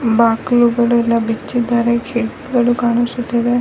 ಬಾಕ್ಲುಗಳೆಲ್ಲ ಬಿಚ್ಚಿದ್ದಾರೆ ಗೇಟ್ ಗಳು ಕಾಣಿಸುತ್ತಿವೆ.